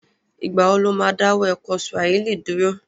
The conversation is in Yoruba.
Ìgbà wo lo má dáwọ́ ẹ̀kọ́ Swahili dúró?